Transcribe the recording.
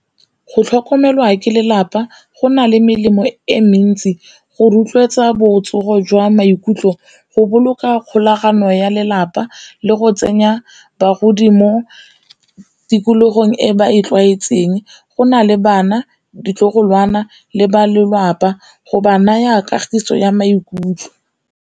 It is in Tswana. Go tlhokomelwa ke lelapa go na le melemo e mentsi go rotloetsa botsogo jwa maikutlo, go boloka kgolagano ya lelapa le go tsenya bagodi mo tikologong e ba e tlwaetseng, go na le bana, ditlogolwana le ba lelapa go ba naya kagiso ya maikutlo.